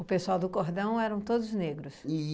O pessoal do cordão eram todos negros?